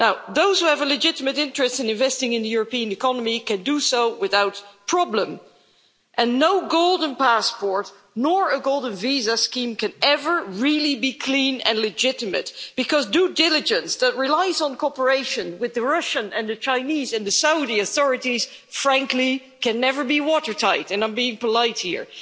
Those who have a legitimate interest in investing in the European economy can do so without problem, and no golden passport nor golden visa scheme can ever really be clean and legitimate because due diligence that relies on cooperation with the Russian and the Chinese and the Saudi authorities, frankly, can never be watertight and I'm being polite here.